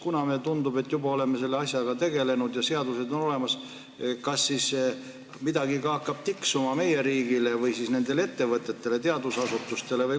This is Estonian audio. Kuna meile tundub, et me juba oleme selle asjaga tegelenud ja seadused on olemas, kas midagi hakkab ka tiksuma meie riigile või siis nendele ettevõtetele, teadusasutustele?